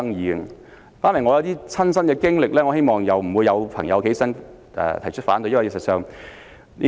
我想談談我的親身經歷，希望不會有議員站起來提出反對。